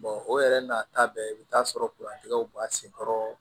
o yɛrɛ n'a ta bɛɛ i bi taa sɔrɔ w b'a senkɔrɔ